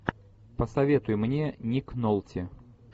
посоветуй мне ник нолти